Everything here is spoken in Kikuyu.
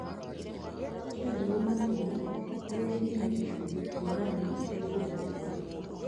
kia mbegũ makĩria iria cĩĩna gĩcunjĩ kia igana harĩ gũthundũka